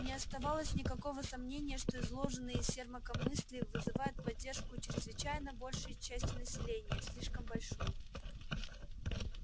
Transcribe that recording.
не оставалось никакого сомнения что изложенные сермаком мысли вызывают поддержку у чрезвычайно большой части населения слишком большой